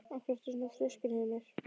Af hverju ertu svona þrjóskur, Hymir?